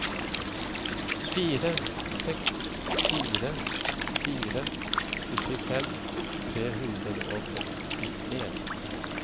fire seks fire fire syttifem tre hundre og førtien